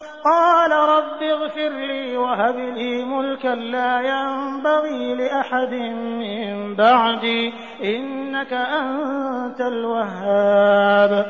قَالَ رَبِّ اغْفِرْ لِي وَهَبْ لِي مُلْكًا لَّا يَنبَغِي لِأَحَدٍ مِّن بَعْدِي ۖ إِنَّكَ أَنتَ الْوَهَّابُ